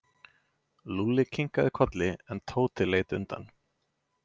Lúlli kinkaði kolli en Tóti leit undan.